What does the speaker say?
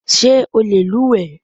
Ṣé o lè luwẹ̀ẹ́?